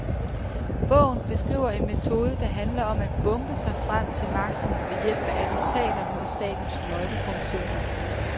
Bogen beskriver en metode, der handler om at bombe sig frem til magten ved hjælp af attentater mod statens nøglefunktioner.